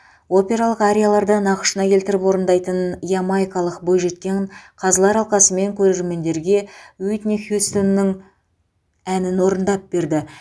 опералық арияларды нақышына келтіріп орындайтын ямайкалық бойжеткен қазылар алқасы мен көрермендерге уитни хьюстонның әнін орындап берді